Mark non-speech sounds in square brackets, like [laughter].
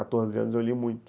[unintelligible] quatorze anos eu li muito.